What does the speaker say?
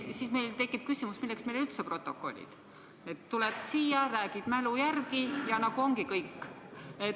Siis tekib meil küsimus, milleks meile üldse protokollid – tuled siia, räägid mälu järgi ja ongi kõik.